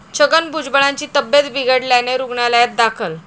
छगन भुजबळांची तब्येत बिघडल्याने रुग्णालयात दाखल